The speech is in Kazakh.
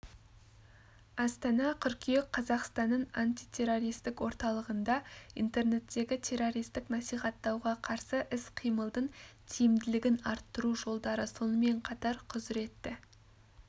астана қыркүйек қазақстанның антитеррористік орталығында интернеттегі террористік насихаттауға қарсы іс-қимылдың тиімділігін арттыру жолдары сонымен қатар құзыретті